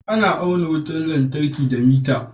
Ana auna wutar lantarki da miter